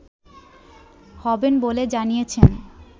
হবেন বলে জানিয়েছেন